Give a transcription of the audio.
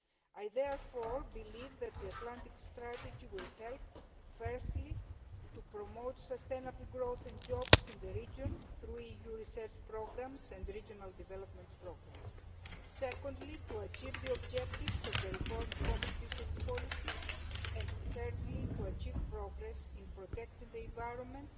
I therefore believe that the Atlantic strategy will help, firstly, to promote sustainable growth and jobs in the region through EU research programmes and regional development programmes, secondly, to achieve the objectives of the reformed common fisheries policy and, thirdly, to achieve progress in protecting the environment